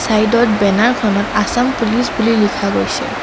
ছাইডত বেনাৰ খনত আছাম পুলিচ বুলি লিখা গৈছে।